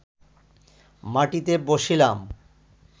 মাটিতে বসিলাম